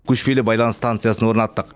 көшпелі байланыс станциясын орнаттық